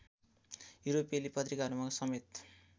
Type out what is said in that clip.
युरोपेली पत्रिकाहरूमा समेत